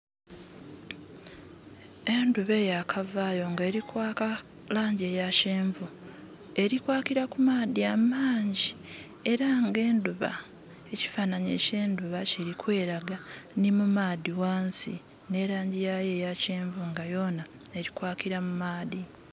Endhuba eyakavayo nga erikwaaka langi ya kyenvu eri kwakila ku maadhi amangi era nga ekifananhi kyendhuba kili kwelaga nhi mumaadhi ghansi era nga nhe langi yayo eya kyenvu yonha erikwakila mu maadhi.